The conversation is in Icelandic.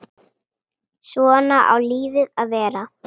Svona á lífið að vera.